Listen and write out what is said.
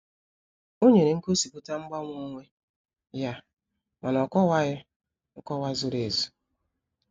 Ó nyere ngosipụta mgbanwe onwe ya, ma na ọ'kowaghi nkọwa zuru ezu.